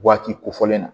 Waati kofɔlen na